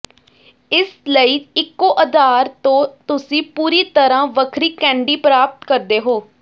ਇਸ ਲਈ ਇਕੋ ਆਧਾਰ ਤੋਂ ਤੁਸੀਂ ਪੂਰੀ ਤਰਾਂ ਵੱਖਰੀ ਕੈਂਡੀ ਪ੍ਰਾਪਤ ਕਰਦੇ ਹੋ